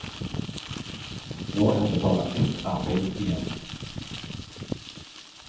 Nå er det bare ett arbeid igjen.